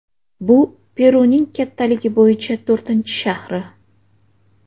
Bu Peruning kattaligi bo‘yicha to‘rtinchi shahri.